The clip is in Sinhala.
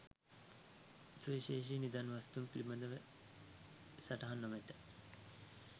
සුවිශේෂී නිදන් වස්තූන් පිළිබඳ සටහන් නොමැත.